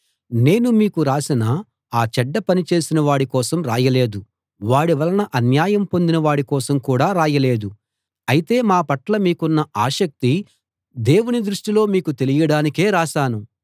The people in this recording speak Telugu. నేను మీకు రాసినా ఆ చెడ్డ పని చేసినవాడి కోసం రాయలేదు వాడి వలన అన్యాయం పొందిన వాడి కోసం కూడా రాయలేదు అయితే మా పట్ల మీకున్న ఆసక్తి దేవుని దృష్టిలో మీకు తెలియడానికే రాశాను